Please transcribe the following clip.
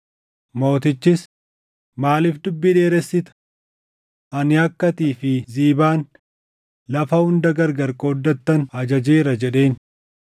Mootichis, “Maaliif dubbii dheeressita? Ani akka atii fi Ziibaan lafa hunda gargar qooddattan ajajeera” jedheen.